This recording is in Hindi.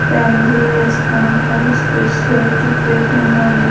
फॅमिली रेस्टॉरंट हैस्पेशलिटी वेज एंड नॉनवेज ।